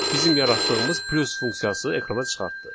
Bizim yaratdığımız plus funksiyası ekrana çıxartdı.